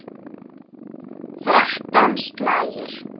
Þrettán slagir.